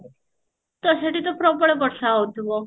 ତ ସେଠି ତ ପ୍ରବଳ ବର୍ଷା ହଉଥିବ